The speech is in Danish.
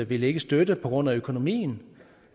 vil ikke støtte på grund af økonomien